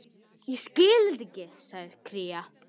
Ég hafði hlaupið á vegg.